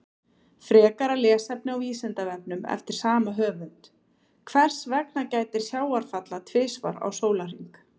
Frekara lesefni á Vísindavefnum eftir sama höfund: Hvers vegna gætir sjávarfalla tvisvar á sólarhring?